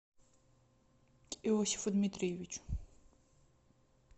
иосифу дмитриевичу